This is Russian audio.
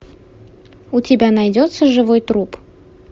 у тебя найдется живой труп